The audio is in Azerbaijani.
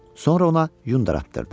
Sonra ona yun daratdırdı.